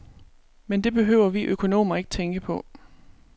Men det behøver vi økonomer ikke tænke på.